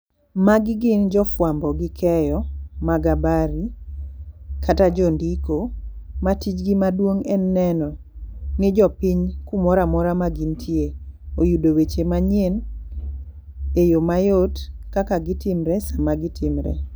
Magi gin jo fwambo gi keyo mag habari kata jondiko ma tij gi maduong' en neno ni jopiny kumoramora ma gintie oyudo weche manyien e yoo mayot kaka gitimre sama gitimre.